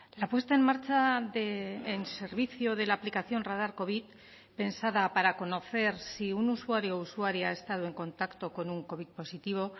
la puesta en marcha en servicio de la aplicación radar covid pensada para conocer si un usuario o usuaria ha estado en contacto con un covid positivo